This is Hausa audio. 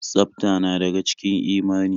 Tsafta na daga cikin imani.